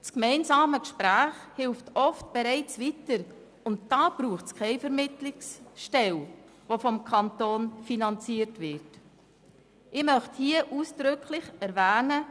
Das gemeinsame Gespräch hilft oft bereits weiter, und dafür braucht es keine vom Kanton finanzierte Vermittlungsstelle.